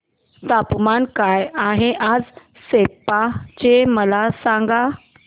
तापमान काय आहे आज सेप्पा चे मला सांगा